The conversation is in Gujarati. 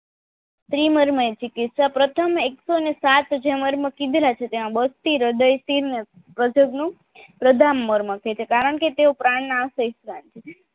પ્રથમ એકસો ને સાત જે મર્મ કીધેલા છે તેમા હ્રદય શિર ને પ્રજાનગ નું પ્રદરમર્મ છે કારણકે તેઓ પ્રાણ ના